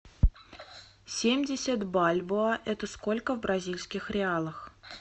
семьдесят бальбоа это сколько в бразильских реалах